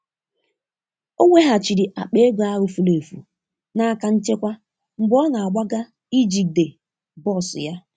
Ọ weghachiri akpa ego ahụ furu efu n'aka nchekwa mgbe ọ na-agbaga ijide bọs ya.